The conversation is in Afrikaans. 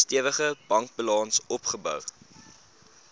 stewige bankbalans opgebou